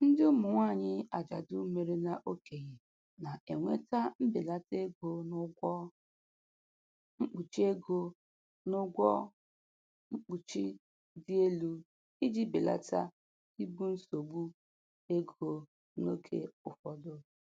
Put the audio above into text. Ndị ụmụ nwanyị ajadu merela okenye, na-enweta mbelata ego n'ụgwọ mkpuchi ego n'ụgwọ mkpuchi dị elu iji belata ibu nsogbu ego n'oge ụfọdụ.